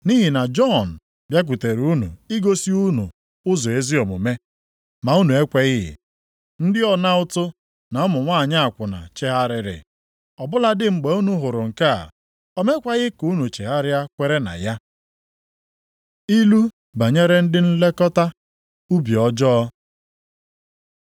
Nʼihi na Jọn bịakwutere unu igosi unu ụzọ ezi omume, ma unu ekweghị. Ndị ọna ụtụ, na ụmụ nwanyị akwụna chegharịrị. Ọ bụladị mgbe unu hụrụ nke a, o mekwaghị ka unu chegharịa kwere na ya. Ilu banyere ndị nlekọta ubi ọjọọ